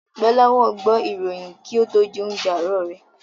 Gbọ́láhàn gbọ́ ìròyìn kí ó tó jẹ oúnjẹ àárọ̀ rẹ̀.